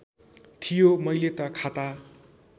थियो मैले त खाता